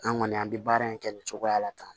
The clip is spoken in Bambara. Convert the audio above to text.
An kɔni an bɛ baara in kɛ nin cogoya la tan